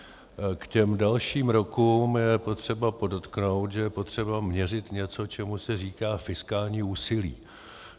K těm dalším rokům je potřeba podotknout, že je potřeba měřit něco, čemu se říká fiskální úsilí.